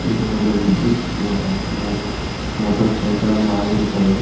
ಇದು ಒಂದು ವಿದ್ಯುತ್ ಮೊ ಮೋಟಾರ್ ಸೈಕಲ್ ಅನ್ನು ಆಗಿರುತ್ತದೆ.